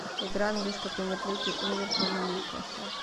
игра английской премьер лиги ливерпуль ньюкасл